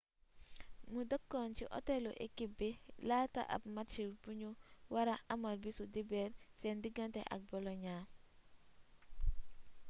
mu dëkkoon ci otelu ekip bi laata ab match buñu wara amal bisu dibeer seen digante ak boloña